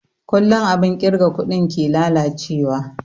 Kullun abun kirga kuɗi ke lalace wa